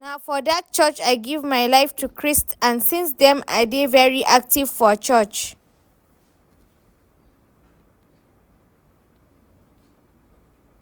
Na for dat church I give my life to Christ and since dem I dey very active for church